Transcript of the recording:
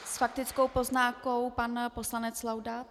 S faktickou poznámkou pan poslanec Laudát.